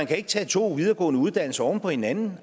kan tage to videregående uddannelser oven på hinanden